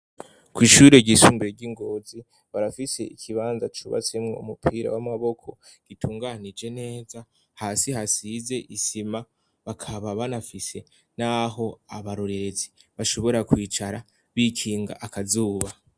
Kwshure ryisumbiye ryi Ngozi barafise ikibanza cubatsemwo umupira w'amaboko gitunganije neza hasi hasize isima bakaba banafise naho abarorerezi bashobora kwicara bikinga akazuba.